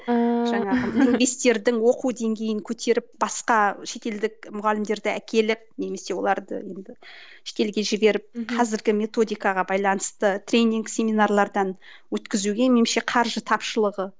лингвисттердің оқу деңгейін көтеріп басқа шетелдік мұғалімдерді әкеліп немесе оларды енді шетелге жіберіп қазіргі методикаға байланысты тренинг семинарлардан өткізуге меніңше қаржы тапшылығы